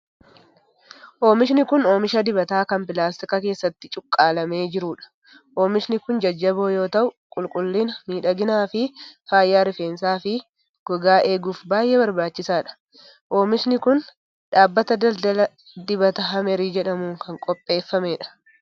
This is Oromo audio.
Oomishni kun, oomisha dibataa kan pilaastika keessatti cuqqaalamee jiruu dha. Oomishni kun jajjaboo yoo ta'u, qulqullina, miidhagina fi fayyaa rifeensaa, fi gogaa eeguuf baay'ee barbaachisaa dha. Oomishni kun, dhaabbata daldalaa Dibata Hamrii jedhamuun kan qopheeffamee dha.